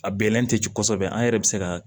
A bɛlɛn tɛ jigin kosɛbɛ an yɛrɛ bɛ se ka